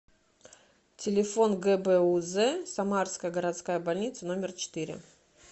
телефон гбуз самарская городская больница номер четыре